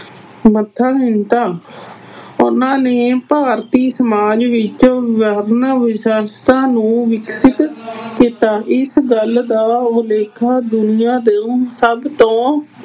ਸਮਰੱਥਹੀਣਤਾ, ਉਹਨਾਂ ਨੇ ਭਾਰਤੀ ਸਮਾਜ ਵਿੱਚ ਵਿਵਸਥਾ ਨੂੰ ਵਿਕਸਿਤ ਕੀਤਾ। ਇਸ ਗੱਲ ਦਾ ਉਲੇਖਾ ਦੁਨਿਆਂ ਦੇ ਸਭ ਤੋਂ